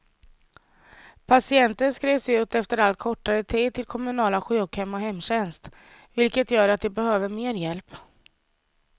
Patienter skrivs ut efter allt kortare tid till kommunala sjukhem och hemtjänst, vilket gör att de behöver mer hjälp.